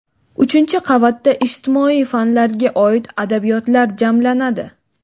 uchinchi qavatda ijtimoiy fanlarga oid adabiyotlar jamlanadi.